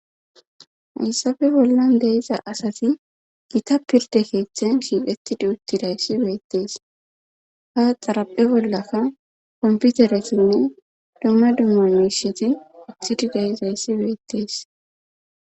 hayssafe bollan deiza asati gita pirde keeththen shiiqettidi uttidayssi beettees ha xaraphe bollakka komputeresinne dumma dummamisheti utidi dayizayssi beettees